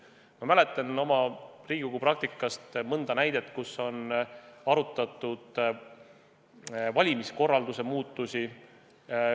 Ma mäletan oma Riigikogu praktikast mõnda näidet, kus on arutatud valimiskorralduse muutusi.